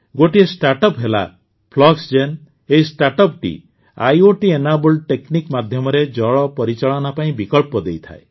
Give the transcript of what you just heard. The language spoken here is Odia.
ଗୋଟିଏ ଷ୍ଟାର୍ଟଅପ ହେଲା ଫ୍ଲକ୍ସଜେନ୍ ଏହି ଷ୍ଟାର୍ଟଅପ ଓ ଆଇଓଟି ଏନେବଲ୍ଡ ଟେକନିକ୍ ମାଧ୍ୟମରେ ଜଳ ପରିଚାଳନା ପାଇଁ ବିକଳ୍ପ ଦେଇଥାଏ